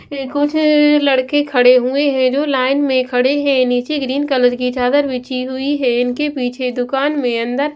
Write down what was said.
कुछ लड़के खड़े हुए हैं जो लाइन में खड़े हैं नीचे ग्रीन कलर की चादर बिछी हुई है इनके पीछे दुकान में अंदर--